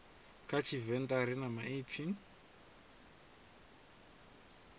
kha tshivenḓa ri na maipfi